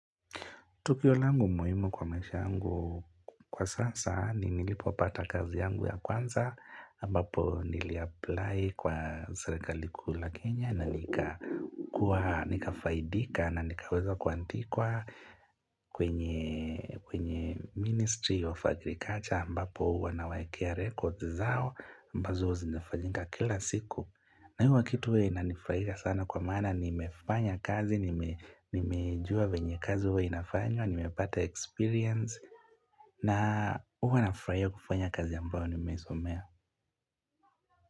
Tukio langu muhimu kwa maisha yangu kwa sasa, ni nilipopata kazi yangu ya kwanza, ambapo niliapply kwa serikali kuu la Kenya, na nikakuwa nikafaidika na nikaweza kuandikwa kwenye Ministry of Agriculture, ambapo wanawawekea rekodi zao, ambazo zinifanyika kila siku. Na huwa hii kitu huwa inanifurahisha sana kwa mana, nimefanya kazi, nimejua venye kazi uwe inafanywa, nimepata experience na huwa nafurahia kufanya kazi ambayo nimeisomea.